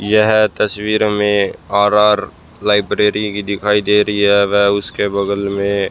यह तस्वीर हमें आर आर लाइब्रेरी भी दिखाई दे रही है। वह उसके बगल मे--